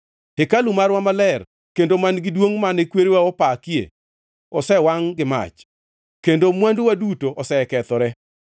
Hekalu marwa maler, kendo man-gi duongʼ mane kwerewa opakie, osewangʼ gi mach, kendo mwanduwa duto osekethore.